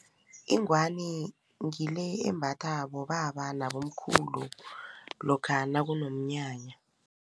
Ingwani ngile embatha bobaba nabomkhulu lokha nakunomnyanya.